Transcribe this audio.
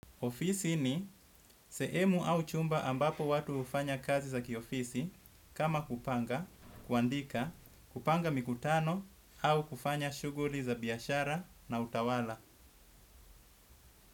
Ofisi ni sehemu au chumba ambapo watu hufanya kazi za kiofisi kama kupanga, kuandika, kupanga mikutano au kufanya shughuli za biashara na utawala.